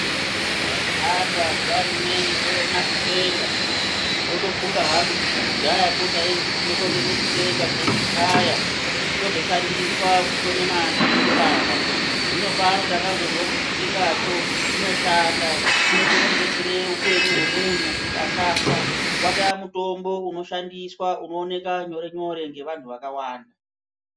Pandai hamba zuva rimweni ndoona chikwenga ndinotofunga hangu kuti kudhayako taitoende kotema chikwenga teikwaya chozoshandiswa kusone manhindibaba. Zvino pano takazozwa kuti chikwengacho chinoshanda chinokone kubetsere upenyu hwemuntu kuti asafa. Vataa mutombo unoshandiswa unooneka nyore-nyore ngevantu vakaanda.